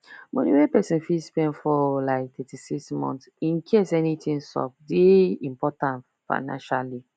money wey person fit spend for like thirty six months incase anything sup dey important financially